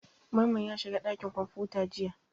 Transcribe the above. Mamman ya shiga ɗakin kwamfuta jiya.